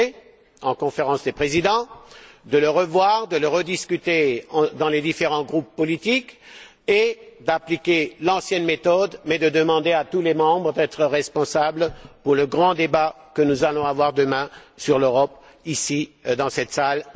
envisagé en Conférence des présidents, qu'on le revoie, qu'on le rediscute dans les différents groupes politiques et qu'on applique l'ancienne méthode, mais en demandant à tous les membres d'être responsables pour le grand débat que nous allons avoir demain matin sur l'Europe, ici, dans cette salle.